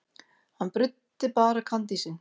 Hann bruddi bara kandísinn.